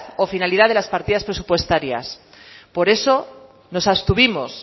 o finalidad de las partidas presupuestarias por eso nos abstuvimos